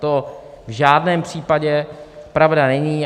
To v žádném případě pravda není.